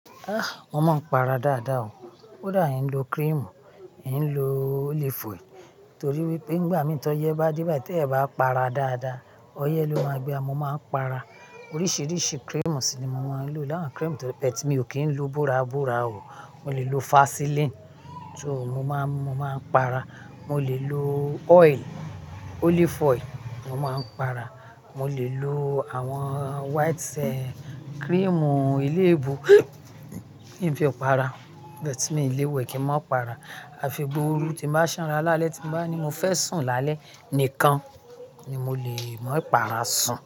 Ah! Mo máa ń para dáadáa o. Ó dàbí n lo cream, ì ń lo olive oil torí wípé nígbà tí ọyẹ́ bá dé bá ti ẹ bá para dáadáa, ọyẹ́ ló máa gbé e. Mo máa ń para oríṣiríṣi cream sí i ni mo máa ń lò. Láwọn cream, but me o kì í lo búrabúra o. Mo lè lo Vaseline, so mo máa, mo máa ń para. Mo lè lo oil, olive oil, mo máa ń para. Mo lè lo àwọn white cream ilé-ìbò, kí n fi para, but mí ilé-ìwẹ̀ kì í máa para. A fi gbuu ooru tí bá sanra lálẹ́ tí bá ní mo fẹ́ sùn lálẹ́ nìkan ni mo lè máa para sùn.